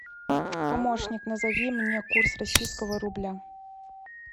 помощник назови мне курс российского рубля